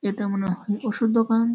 এটা মনে হয় ওষুধ দোকান --